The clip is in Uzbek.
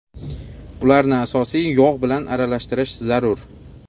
Ularni asosiy yog‘ bilan aralashtirish zarur.